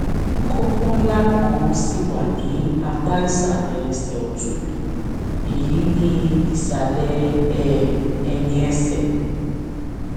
kókó ńlá kan ṣì wà ní apá ìsàlẹ ẹsẹ ọtún mi èyí ni ìsàlẹ um ẹyìn ẹsẹ